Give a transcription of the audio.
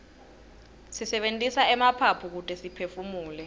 sisebentisa emaphaphu kute siphefumule